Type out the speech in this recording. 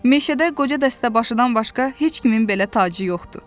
Meşədə qoca dəstəbaşıdan başqa heç kimin belə tacı yoxdur.